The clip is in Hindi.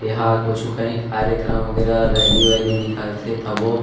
यहाँ कुछु कही कार्यक्रम वगेरा रैली वैली निकल थे तभो --